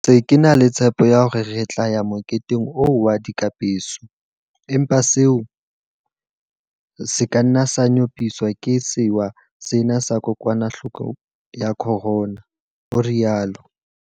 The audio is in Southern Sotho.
Ke ntse ke e na le tshepo ya hore re tla ya moketeng oo wa dikapeso, empa seo se ka nna sa nyopiswa ke sewa sena sa kokwanahloko ya corona, o rialo.